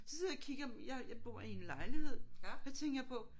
Så sidder jeg og kigger men jeg jeg bor i en lejlighed. Så tænker jeg på